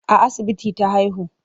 A asibiti ta haihu.